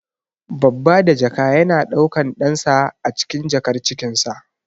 Babba da jaka yana daukan ɗansa ne acikin jakar cikinsa.